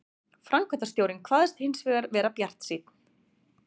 Framkvæmdastjórinn kvaðst hins vegar vera bjartsýnn